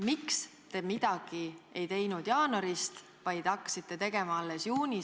Miks te midagi ei teinud jaanuarist, vaid hakkasite tegema alles juunis, ...